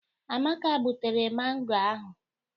Amaka gbutere mangọ ahụ.